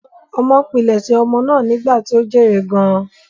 Ọmọ pilẹ̀sẹ̀ ọmọ náà ni ìgbà tí ó jèrè gan-an.